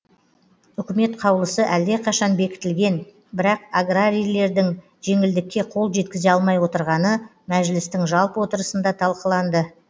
үкімет қаулысы әлдеқашан бекітілген бірақ аграрийлердің жеңілдікке қол жеткізе алмай отырғаны мәжілістің жалпы отырысында талқыланды